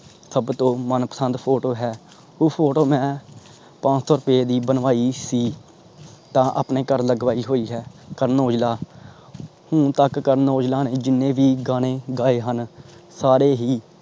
ਸਬ ਤੋਂ, ਮਨਪਸੰਦ photo ਹੈ। ਉਹ photo ਮੈਂ ਪੰਜ ਸੋ ਰੁਪਏ ਦੀ ਵਨਵਾਯੀ ਸੀ। ਤਾਂ ਆਪਣੇ ਘਰ ਲਾਗਵਾਯੀ ਹੋਇ ਹੈ। ਕਰਨ ਔਜਲਾ ਹੁਣ ਤਕ ਕਰਨ ਔਜਲਾ ਨੇ ਜਿੰਨੇ ਭੀ ਗਾਣੇ ਗਏ ਹਨ ਸਾਰੇ ਹੀ